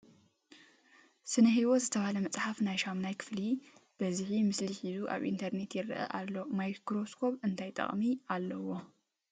ስነ ሂወት ዝተበሃለ መፅሓፍ ናይ ሻሙናይ ክፍሊ ብዙሕ ምስሊ ሒዙ ኣብ ኢንተርንየት ይርአ ኣሎ ። ማይክሮስኮብ እንታይ ጥቅሚ ኣለዎ ?